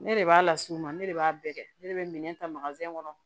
Ne de b'a las'u ma ne de b'a bɛɛ kɛ ne de be minɛn ta kɔnɔ